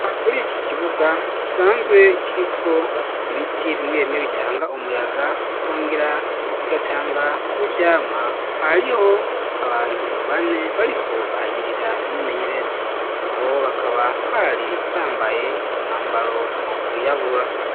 Muriki kibuga gisanzwe kiriko ibiti bimwe bimwe bitanga umuyaga bikongera bigatanga n'ivyamwa hariho abantu bane bariko bahagirira imyimenyerezo nabo bakaba bari bambaye umwambaro wirabura.